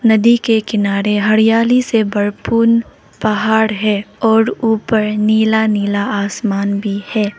नदी के किनारे हरियाली से भरपूर पहाड़ है और ऊपर नीला नीला आसमान भी है।